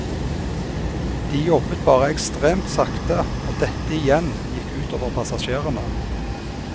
De jobbet bare ekstremt sakte, og dette igjen gikk utover passasjerene.